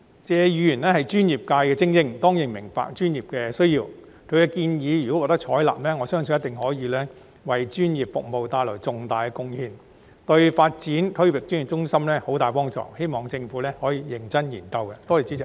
謝議員是專業界別的精英，當然明白專業的需要，如果他的建議能獲得採納，相信一定可為專業服務帶來重大的貢獻，對發展區域專業服務中心有莫大幫助，希望政府可認真加以研究。